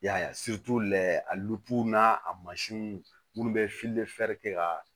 Y'a ye a n'a a mansinw minnu bɛ kɛ ka